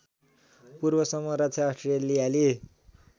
पूर्वसम्म रक्षा अस्ट्रेलियाली